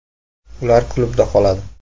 Ular klubda qoladi.